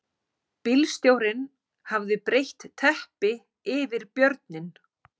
Bílstjórinn hafði breitt teppi yfir björninn